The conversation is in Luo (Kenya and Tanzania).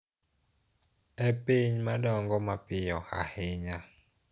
E piny ma dongo mapiyo ahinya.